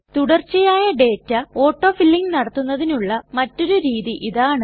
തുടർച്ചയായ data auto filling നടത്തുന്നതിനുള്ള മറ്റൊരു രീതി ഇതാണ്